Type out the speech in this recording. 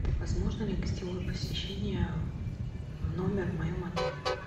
возможно ли гостевое посещение в номер в моем отеле